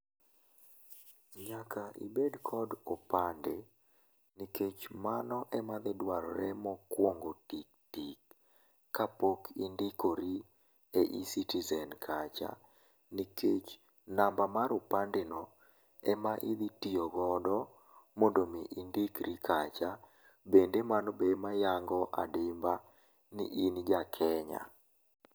Nyaka ibed kod opande, nikech mano ema dhidwarore mokwongo tiktik kapok indikori e eCitizen kacha, nikech namba mar opande no ema idhitio godo mondo mii indikri kacha, bende mano be ema yango adimba ni in jaKenya.